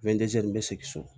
n bɛ segin so